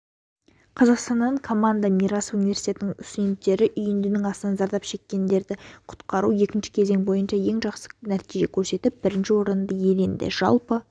қазақстаннан команда мирас университетінің студенттері үйіндінің астынан зардап шеккенді құтқару екінші кезең бойынша ең жақсы нәтиже көрсетіп бірінші орынды иеленді жалпы